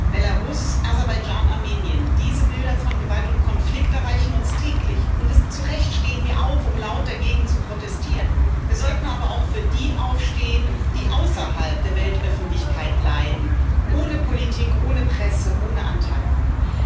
Frau Präsidentin! Belarus, Aserbaidschan, Armenien diese Bilder von Gewalt und Konflikt erreichen uns täglich, und zu Recht stehen wir auf, um laut dagegen zu protestieren. Wir sollten aber auch für die aufstehen, die außerhalb der Weltöffentlichkeit leiden ohne Politik, ohne Presse, ohne Anteilnahme.